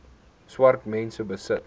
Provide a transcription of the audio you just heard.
swart mense besit